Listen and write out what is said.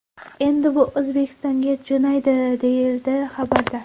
Endi u O‘zbekistonga jo‘naydi”, deyiladi xabarda.